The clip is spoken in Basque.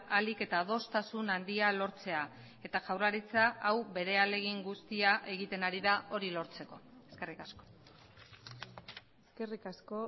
ahalik eta adostasun handia lortzea eta jaurlaritza hau bere ahalegin guztia egiten ari da hori lortzeko eskerrik asko eskerrik asko